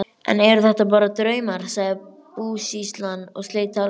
Enn eru þetta bara draumar, sagði búsýslan og sleit talinu.